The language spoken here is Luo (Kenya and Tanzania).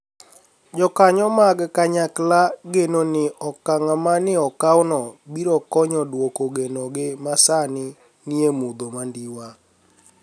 Jokaniyo mag kaniyakla geno nii okanig' ma ni e okawno biro koniy duoko geno gi ma sanii niie mudho manidiwa.